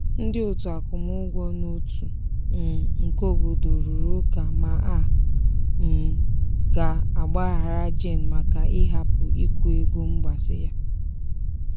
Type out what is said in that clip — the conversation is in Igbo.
ndị otu akwụmugwọ n'otu um nke obodo rụrụ ụka ma a um ga-agbaghara jane maka ịhapụ ikwụ ego mgbazi ya.